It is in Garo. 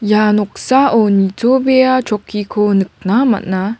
ia noksao nitobea chokkiko nikna man·a.